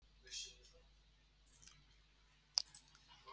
Þórir: Sjúklingar hafa haldist í rúmum sínum samt?